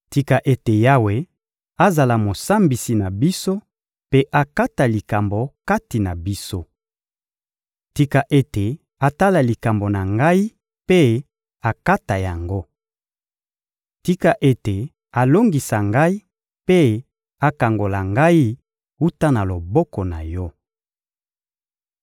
Tika ete Yawe azala Mosambisi na biso mpe akata likambo kati na biso. Tika ete atala likambo na ngai mpe akata yango! Tika ete alongisa ngai mpe akangola ngai wuta na loboko na yo.